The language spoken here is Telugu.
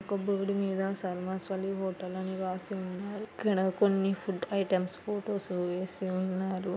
ఒక బోర్డు సర్మ స్వలి మీద హోటల్ అని రాసి ఉన్నారు ఇక్కడ కొన్ని ఫుడ్ ఐటమ్స్ ఫొటోస్ వేసి ఉన్నారు.